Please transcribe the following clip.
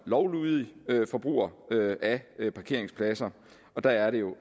lovlydig forbruger af af parkeringspladser og der er det jo